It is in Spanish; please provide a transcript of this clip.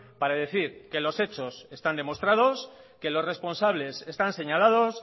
para decir que los hechos están demostrados que los responsables están señalados